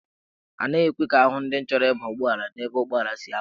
Anaghị ekwe ka ahụ ndị chọrọ ịba ụgbọelu n'ebe ụgbọelu si apụ.